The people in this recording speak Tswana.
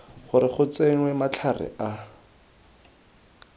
gore go tsenngwe matlhare a